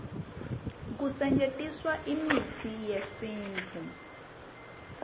kusetjentiswa imitsi yesintfu